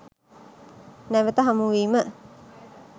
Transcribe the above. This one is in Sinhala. නැවත හමු වීම